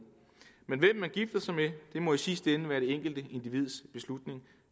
må i sidste ende være det enkelte individs beslutning